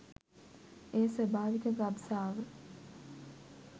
එය ස්වාභාවික ගබ්සාව